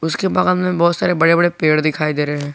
उसके बगल में बहोत सारे बड़े बड़े पेड़ दिखाई दे रहे हैं।